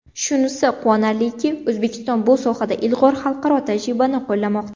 Shunisi quvonarliki, O‘zbekiston bu sohada ilg‘or xalqaro tajribani qo‘llamoqda”.